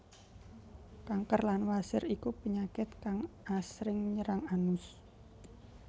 Kanker lan wasir iku penyakit kang asring nyerang anus